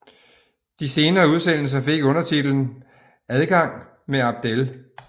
De senere udsendelser fik undertitlen Adgang med Abdel